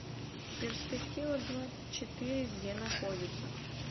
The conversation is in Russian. перспектива двадцать четыре где находится